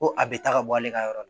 Ko a bɛ taa ka bɔ ale ka yɔrɔ la